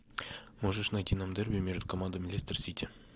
можешь найти нам дерби между командами лестер сити